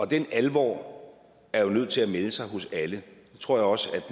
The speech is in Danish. den alvor er jo nødt til at melde sig hos alle det tror jeg også